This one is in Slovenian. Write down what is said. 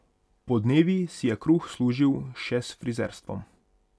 Podnevi si je kruh služil še s frizerstvom.